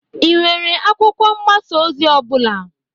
Ị nwere akwụkwọ mgbasa ozi ọ bụla?